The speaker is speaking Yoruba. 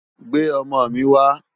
Gbé òmò mi wá